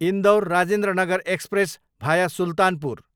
Indore, Rajendranagar express, भाया सुल्तानपुर